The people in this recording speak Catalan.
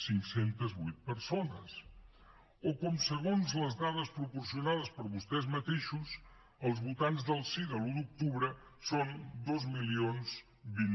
cinc cents i vuit persones o com segons les dades proporcionades per vostès mateixos els votants del sí de l’un d’octubre són dos mil vint